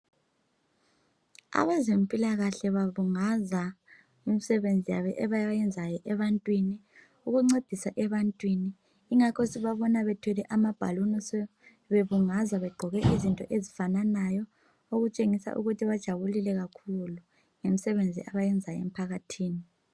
Abeze mpilakahle babungaza imsebenzi yabo abayenza ebantwin ukuncedisa ebantwin yingakho sibabona bethwele amabhaluni bebungaza Begqoke izinto ezifananayo betshengisa ukuba bajabulile kakhulu ngemsebenzi abawenza emphakathini